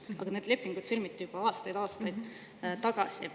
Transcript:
Aga need lepingud sõlmiti juba aastaid-aastaid tagasi.